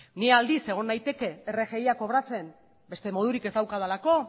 ni aldiz egon naiteke rgia kobratzen beste modurik ez daukadalako